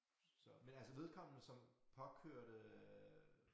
Så men altså vedkommende som påkørte øh